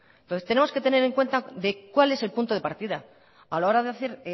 entonces tenemos que tener en cuenta de cual es el punto de partida a la hora de hacer